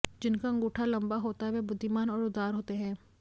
जिनका अंगूठा लंबा होता है वह बुद्धिमान और उदार होते हैं